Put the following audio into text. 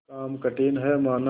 काम कठिन हैमाना